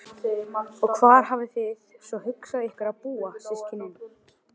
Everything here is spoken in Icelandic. Að þeirri forsendu gefinni verður verðmæti jarðhitans allt annað.